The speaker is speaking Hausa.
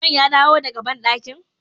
Usman ya dawo daka badankin?